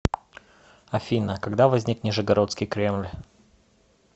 афина когда возник нижегородский кремль